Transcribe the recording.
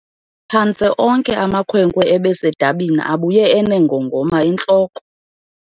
Phantse onke amakhwenkwe ebesedabini abuye eneengongoma entloko.